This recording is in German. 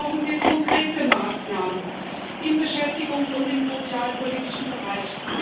Und dafür brauchen wir konkrete Maßnahmen im beschäftigungs und im sozialpolitischen Bereich.